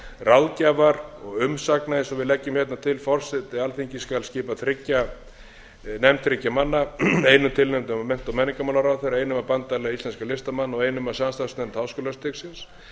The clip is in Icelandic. ráðgjafar og umsagna eins og við leggjum hérna til forseti alþingis skal skipa nefnd þriggja manna einum tilnefndum af mennta og menningarmálaráðherra einum af bandalagi íslenskra listamanna og einum af samstarfsnefnd háskólastigsins